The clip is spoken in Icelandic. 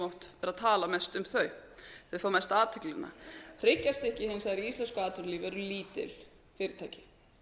oft vera að tala mest um þau þau fá mesta athyglina hryggjarstykkið hins vegar í íslensku atvinnulífi eru lítil fyrirtæki